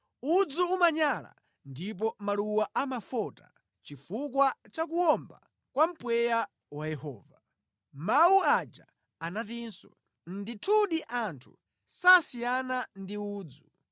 Udzu umanyala ndipo maluwa amafota chifukwa cha kuwomba kwa mpweya wa Yehova.” Mawu aja anatinso, “Ndithudi anthu sasiyana ndi udzu.